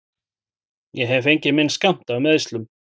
Ég hef fengið minn skammt af meiðslum.